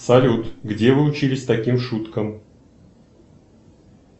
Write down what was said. салют где вы учились таким шуткам